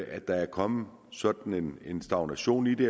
at der er kommet sådan en stagnation i det